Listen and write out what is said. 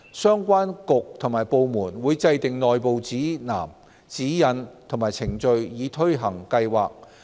相關局及部門會制訂內部指南、指引及程序以推行計劃。